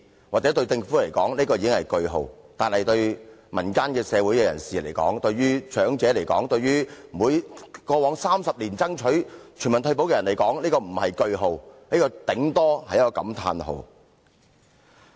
或許對政府來說，這已是句號，但對民間社會人士、長者及過往30年來爭取全民退保的人來說，這並非句號，頂多只是感歎號。